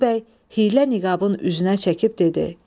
Bolu bəy hiylə niqabın üzünə çəkib dedi: